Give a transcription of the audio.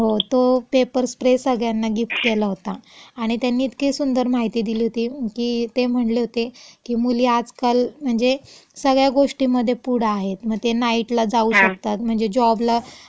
हो. तो pepper spray सगळ्यांना गिफ्ट देला होता. आणि त्यांनी इतकी सुंदर माहिती दिली होती, की ते म्हणले होते, की मुली आजकाल म्हणजे सगळ्या गोष्टीमधे पुढं आहेत, म ते नाईटला जाऊ शकतात, म्हणजे जॉबला, हम्म.